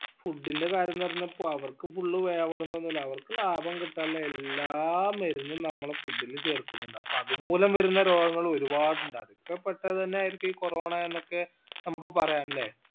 food ന്റെ കാര്യേന്നു പറഞ്ഞപ്പോ അവർക്ക് full വേവണോന്നൊന്നുല്ല അവർക്ക് ലാഭം കിട്ടാനുള്ള എല്ലാ മരുന്നും നമ്മളെ food ല് ചേർക്കിന്നുണ്ട് അപ്പൊ അത് മൂലം വരുന്ന രോഗങ്ങൾ ഒരുപാട് ഇണ്ട് അതൊക്കെ പെട്ടത് അന്നേ ആയിരിക്കും ഈ corona എന്നൊക്കെ നമ്മക്ക് പറയാ അല്ലെ